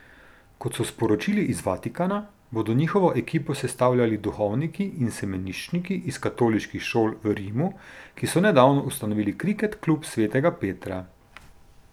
Kot so sporočili iz Vatikana, bodo njihovo ekipo sestavljali duhovniki in semeniščniki iz katoliških šol v Rimu, ki so nedavno ustanovili Kriket klub svetega Petra.